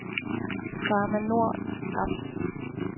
Pharma Nord ApS